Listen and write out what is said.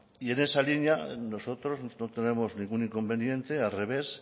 y en esa línea nosotros no tenemos ningún inconveniente al revés